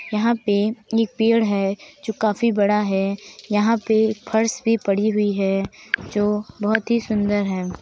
यहाँ पे एक पेड़ है जो काफी बड़ा है। यहाँ पे फर्श भी पड़ी हुई है जो बोहोत ही सुंदर है।